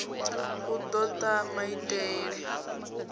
u do ta maiteie na